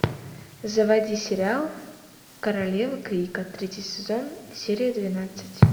заводи сериал королева крика третий сезон серия двенадцать